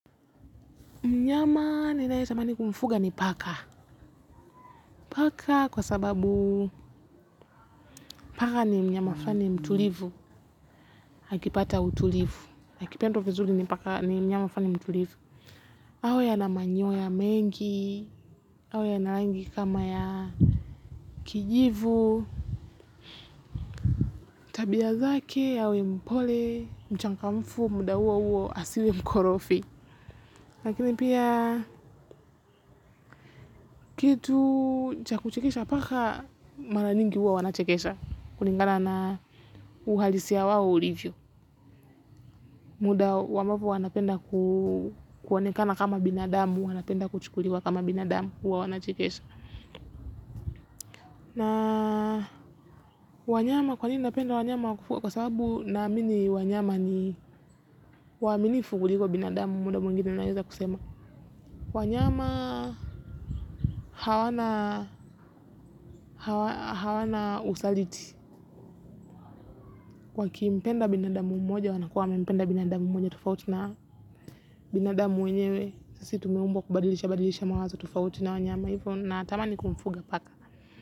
Mnyama ninayetamani kumfuga ni paka. Paka kwa sababu paka ni mnyama fani mtulivu. Akipata utulivu. Akipendwa vizuri ni paka ni mnyama fani mtulivu. Awe ana manyoya mengi. Awe ya na rangi kama ya kijivu. Tabia zake yawe mpole. Mchangamfu muda huo huo asiwe mkorofi. Lakini pia kitu cha kuchekesha paka mara nyingi huwa wanachekesha. Kulingana na uhalisia wao ulivyo. Muda ambapo wanapenda kuonekana kama binadamu. Wanapenda kuchukuliwa kama binadamu huwa wanachekesha. Na wanyama kwanini napenda wanyama wa kufua. Kwa sababu naamini wanyama ni waamini kuliko binadamu. Muda mwingine naweza kusema wanyama hawana usaliti. Wakimpenda binadamu mmoja wanakuwa wamempenda binadamu mmoja. Tofauti na binadamu mwenyewe sisi tumeumbwa kubadilishabadilisha mwazo tofauti na wanyama hivo. Natamani kumfuga paka.